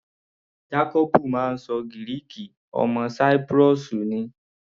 Jacobu máa ń ṣọ Gíríìkì, ọmọ Cyprus ni.